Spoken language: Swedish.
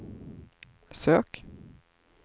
sök